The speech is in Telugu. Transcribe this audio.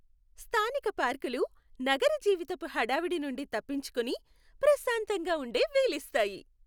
స్థానిక పార్కులు నగర జీవితపు హడావిడి నుండి తప్పించుకుని ప్రశాంతంగా ఉండే వీలిస్తాయి.